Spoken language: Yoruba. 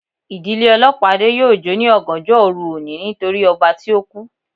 Ìdílé olopade yóò jo ni ọgànjọ oru oni nítorí ọba tí oku